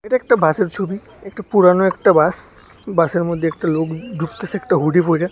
একটা বাসের ছবি একটা পুরানো একটা বাস বাসের মধ্যে একটা লোক ঢুকতাছে একটা হুডি পইরা।